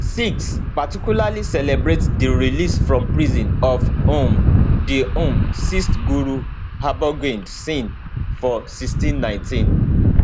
sikhs particularly celebrate di release from prison of um di um sixth guru hargobind singh for1619